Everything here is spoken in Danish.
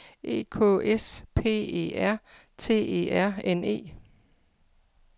E K S P E R T E R N E